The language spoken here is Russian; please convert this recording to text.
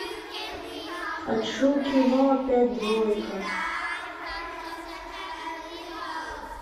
хочу кино опять двойка